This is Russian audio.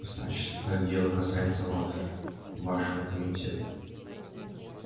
значит это дело касается вас вашего комитета